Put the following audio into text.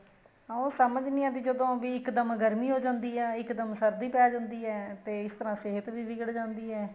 ਹਾਂ ਉਹ ਸਮਝ ਨਹੀਂ ਆਦੀ ਜਦੋਂ ਵੀ ਇੱਕ ਦਮ ਗਰਮੀ ਹੋ ਜਾਂਦੀ ਏ ਇੱਕ ਦਮ ਸਰਦੀ ਪੈ ਜਾਂਦੀ ਏ ਤੇ ਇਸ ਤਰ੍ਹਾਂ ਸਿਹਤ ਵੀ ਵਿਗੜ ਜਾਂਦੀ ਏ